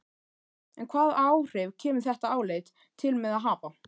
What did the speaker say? En hvaða áhrif kemur þetta álit til með að hafa?